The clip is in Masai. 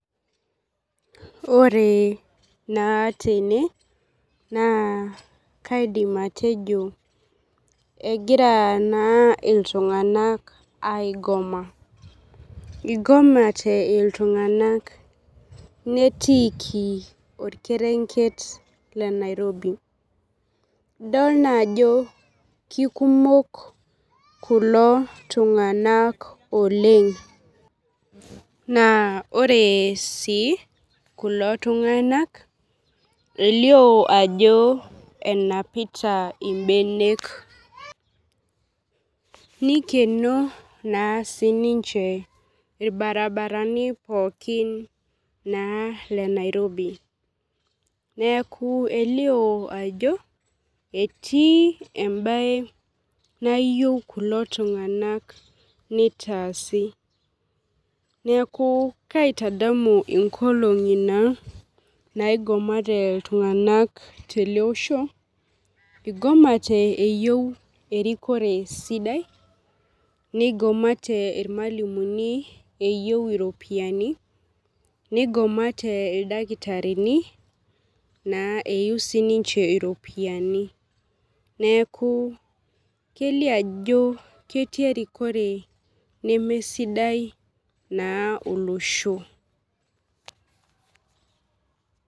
Ore naa tene naa kaidim atejo egira naa ltunganak aigoma igomate ltunganak netiiki orkerenket le nairobi idol naa ajo kekumok kulo tunganak oleng naa ore si kulo tunganak elio ajo enapita mbenek nikeno naa sininche irbaribarani pooki lenairobi neaku elio ajo etii embae nayieu kulo tunganak nitaasi neaku kaitadamu nkolongi nayieu kulo tunganak teloosho igomate eyieu erikore sidai nigomatw irmalimulini eyieu iropiyiani nigomatw ildakitarini eyieu iropiyiani neaku kelio ajo ketii erikore nemesidai olosho.